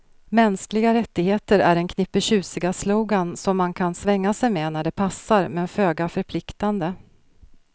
Mänskliga rättigheter är en knippe tjusiga slogan som man kan svänga sig med när det passar, men föga förpliktande.